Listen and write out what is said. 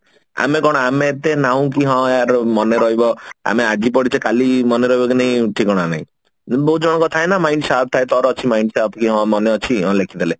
ଆମେ କଣ ଆମେ ଏତେ ନାହୁଁ କି ହଁ ୟାର ମନେ ରହିବ ଆମେ ଆଜି ପଢିଛେ କଲି ମନେ ରହିବ କି ନାହିଁ ଠିକଣା ନାହିଁ ଏମତି ବହୁତ ଜଣଙ୍କର ଥାଏ ନା mind sharp ଥାଏ ତାର ଅଛି mind sharp କି ହଁ ମନେ ଅଛି ହଁ ଲେଖିଦେଲେ